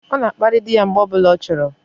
O na akpari di ya mgbe o bula o choro